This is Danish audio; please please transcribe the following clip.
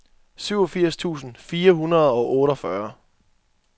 syvogfirs tusind fire hundrede og otteogfyrre